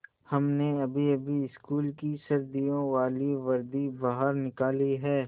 हमने अभीअभी स्कूल की सर्दियों वाली वर्दी बाहर निकाली है